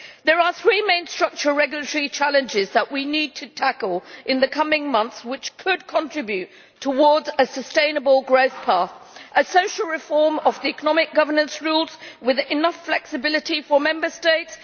There are three main structural regulatory challenges that we need to tackle in the coming months, which could contribute towards a sustainable growth path. A social reform of the economic governance rules with enough flexibility for Member States